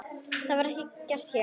Það er ekki gert hér.